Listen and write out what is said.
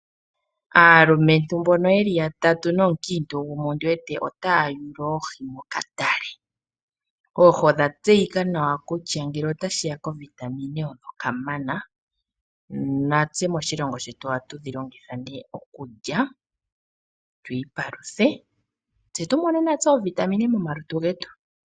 Aalumwntu mbono yeli yatatu nomukiintu gumwe ondiwete otaya yula oohi mokatale. Oohi odha tseyika nawa kutya ngele otashiya kovitamin oyo kamana natse moshilongo shetu ohatu dhi longitha okulya twiipaluthe tse tumone natse oovitamine momalutu getu.